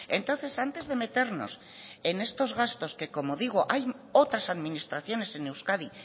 entonces antes de meternos en estos gastos que como digo hay otras administraciones en euskadi